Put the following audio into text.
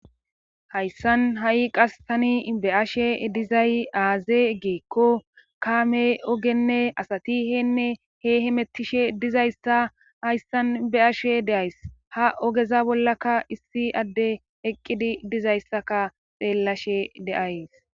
Hayssan ha7i qas tani beashe dizay aaze geekko kaame ogenne asatiheenne he himettishe dizayssa hayssan be7ashe deays ha ogeza bollaka issi adde eqqidi dizayssaka xeellashe deays